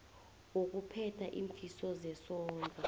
wokuphetha iimfiso zesondlo